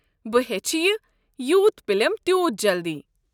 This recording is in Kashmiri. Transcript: بہٕ ہیٚچھِ یہِ یوٗت پلٮ۪م تیوٗت جلدی۔